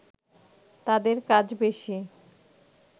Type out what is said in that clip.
তাদের কাজ বেশি